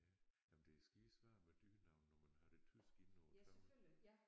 Ja jamen det er skide svært med dyrenavne når man har det tyske inde på tavlen